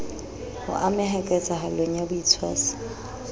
ho ameha ketsahalong ya botshwasi